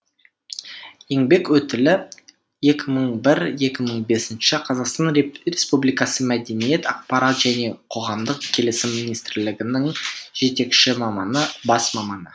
еңбек өтілі екі мың бір екі мың бесінші қазақстан республикасы мәдениет ақпарат және қоғамдық келісім министрлігінің жетекші маманы бас маманы